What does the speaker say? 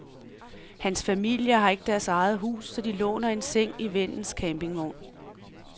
Hans familie har ikke deres eget hus, så de låner en seng i vennens campingvogn.